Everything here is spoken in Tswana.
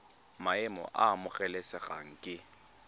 maemo a a amogelesegang ke